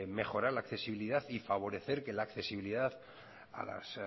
mejorar la accesibilidad y favorecer que la accesibilidad a las